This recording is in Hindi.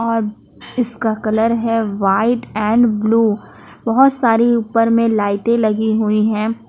और इसका कलर है व्हाइट एंड ब्लू बहुत सारी ऊपर में लाइटें लगी हुई हैं।